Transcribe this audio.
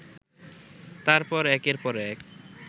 তারপর একের পর এক